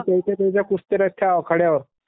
कुस्त्या भरते कुस्त्या त्याच्या त्या आखाड्यावर.